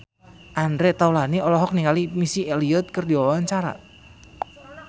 Andre Taulany olohok ningali Missy Elliott keur diwawancara